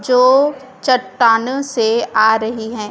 चो चटानो से आ रही हैं।